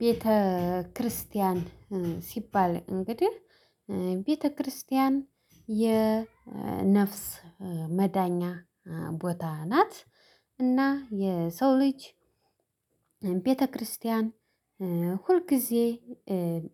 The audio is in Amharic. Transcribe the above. ቤተክርስቲያን ሲባል እንግዲህ ቤተክርስቲያን የነፍስ መዳኛ ቦታ ናት። እና የሰው ልጅ ቤተክርስቲያን ሁልጊዜ